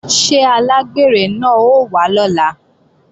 Ṣé alágbèrè náà ó wá lọ́la?